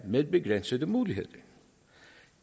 med begrænsede muligheder